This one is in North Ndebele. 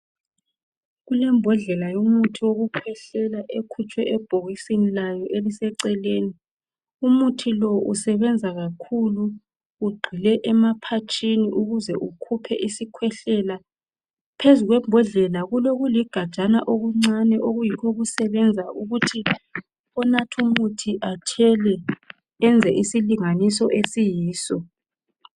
Kulembodlela yomuthi wokukhwehlela ekhutshwe ebhkisini lawo eliseceleni umuthi lo isebenza kakhulu ugxile emaphatshini ukuze ukhiphe isikhwehlela, phezulu kwembodlela kulokuligajana okuncane okuyikho okusebenza ukuthi onatha umuthi athele enze isilinganiso esiyiso.